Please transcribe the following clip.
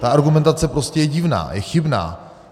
Ta argumentace je prostě divná, je chybná.